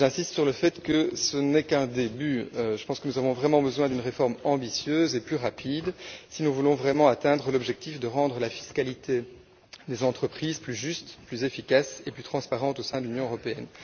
J'insiste sur le fait que ce n'est qu'un début. Je pense que nous avons vraiment besoin d'une réforme ambitieuse et plus rapide si nous voulons vraiment atteindre l'objectif consistant à rendre la fiscalité des entreprises plus juste, plus efficace et plus transparente au sein de l'Union européenne.